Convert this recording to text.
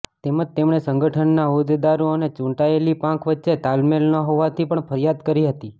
તેમજ તેમણે સંગઠનના હોદેદારો અને ચૂંટાયેલી પાંખ વચ્ચે તાલમેલ ન હોવાની પણ ફરિયાદ કરી હતી